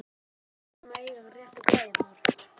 Við verðum að eiga réttu græjurnar!